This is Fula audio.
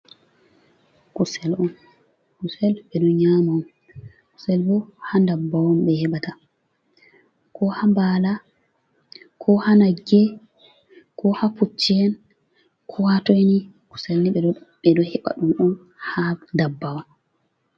Kusel on, kusel ɓe ɗo nyama on, kusel bo ha ndabbawa on ɓe heɓata, ko ha nbala, ko ha nagge, ko ha Pucci en ko ha toini kusel ni ɓe ɗo heɓa ɗum on ha ndabbawa.